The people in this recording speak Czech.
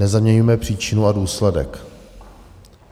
Nezaměňujme příčinu a důsledek.